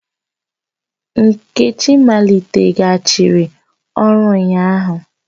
Nkechi maliteghachiri ọrụ ụnyahụ